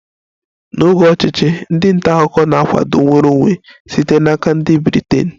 N'oge ọchịchị, ndị nta akụkọ na-akwado nnwere onwe site n'aka ndị Britain